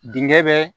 Denkɛ bɛ